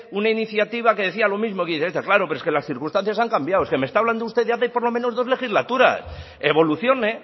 una iniciativa que decía lo mismo que dice esta claro pero es que las circunstancias han cambiado es que me está hablando usted de hace por lo menos dos legislaturas evolucione